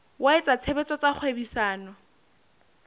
wa etsa tshebetso tsa kgwebisano